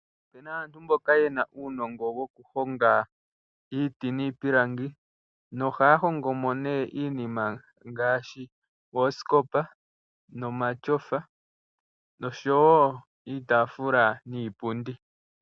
Opu na aantu mboka yena uunongo wokuhonga iiti niipilangi, nohaya hongo mo nee iinima ngaashi oosikopa nomatyofa noshowo iitaafula niipundi.